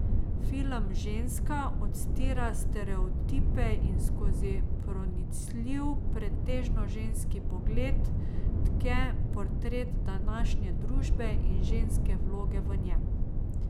Film Ženska odstira stereotipe in skozi pronicljiv, pretežno ženski pogled, tke portret današnje družbe in ženske vloge v njem.